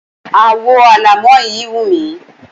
Àwo alámọ̀ yí wù mí.